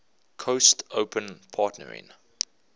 coast open partnering